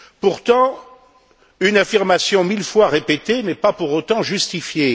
Pourtant, une affirmation mille fois répétée n'est pas pour autant justifiée.